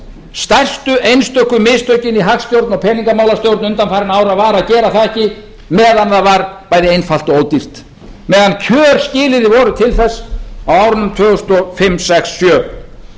stærstu einstöku mistökin í hagstjórn og peningamálastjórnun undanfarinna ára var að gera það ekki meðan það var bæði einfalt og ódýrt meðan tvö skilyrði voru til þess á árunum tvö þúsund og fimm tvö þúsund og sex og tvö þúsund og sjö